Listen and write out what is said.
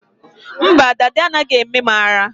Mba, dada anaghị eme m ara